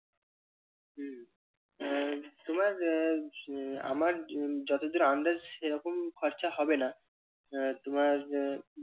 আর তোমার আহ আমার যতদূর আন্দাজ সেরকম খরচা হবে না আহ তোমার